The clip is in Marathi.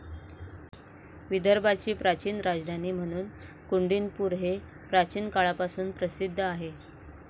विदर्भाची प्राचीन राजधानी म्हणून कुंडीनपूर हे प्राचीन काळापासून प्रसिद्ध आहे.